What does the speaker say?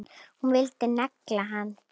Hún vildi negla hann!